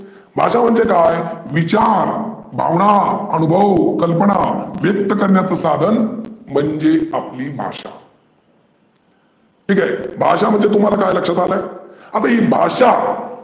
भाषा म्हणजे काय? विचार, भावना, आनुभव, कल्पना व्यक्त करण्याचं साधन म्हणजे आपली भाषा. ठिक आहे, भाषा म्हणजे तुम्हाला काय लक्षात आलं? आता ही भाषा